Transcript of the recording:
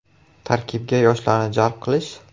Tarkibga yoshlarni jalb qilish?